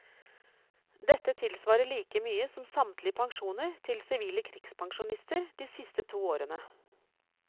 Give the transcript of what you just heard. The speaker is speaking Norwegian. Dette tilsvarer like mye som samtlige pensjoner til sivile krigspensjonister de siste to årene.